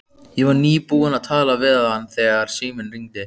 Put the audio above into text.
Ég var nýbúin að tala við hann þegar síminn hringdi.